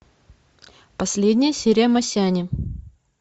последняя серия масяни